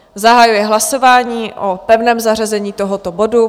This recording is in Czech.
Zahajuji hlasování o pevném zařazení tohoto bodu.